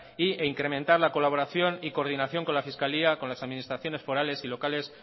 e incrementar la colaboración y coordinación con la fiscalía con las administraciones forales y locales